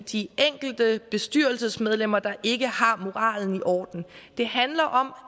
de enkelte bestyrelsesmedlemmer der ikke har moralen i orden det handler om